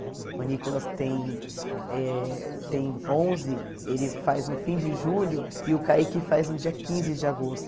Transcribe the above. O Nicolas tem eh tem onze, ele faz no fim de julho, e o Kaique faz no dia quinze de agosto.